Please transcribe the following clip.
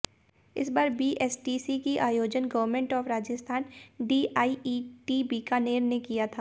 इस बार बीएसटीसी की आयोजन government of Rajasthan DIET Bikaner ने किया था